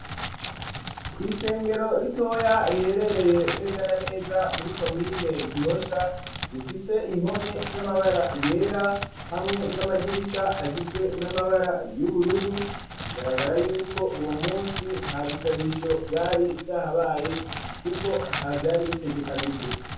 Kw'isengero ritoya, riherereye neza na neza muri komine Gihosha, rifise impome z'amabara yera, hamwe n'amadirisha, agizwe n'amabara y'ubururu; bigaragara y'uko, uwo munsi nta bisabisho vyari vyahabaye, kuko atavyari bitegekanijwe.